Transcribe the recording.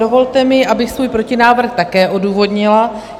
Dovolte mi, abych svůj protinávrh také odůvodnila.